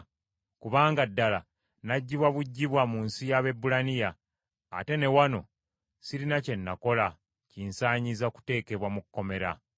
Kubanga ddala naggyibwa buggyibwa mu nsi y’Abaebulaniya; ate na wano sirina kye nakola kinsaanyiza kuteekebwa mu kkomera.”